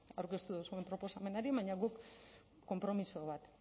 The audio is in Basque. aurkeztu duzuen proposamenari baina guk konpromiso bat